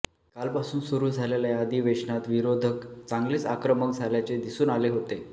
कालपासून सुरु झालेल्या या अधिवेशनात विरोधक चांगलेच आक्रमक झाल्याचे दिसून आले होते